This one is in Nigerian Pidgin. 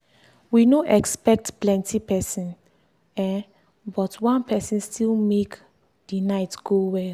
we no expect plenti person um but one person still make the night go well.